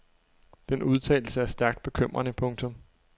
Den udtalelse er stærkt bekymrende. punktum